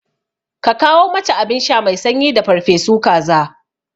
Ka kawo mata abinsha mai sanyi da farfesu kaza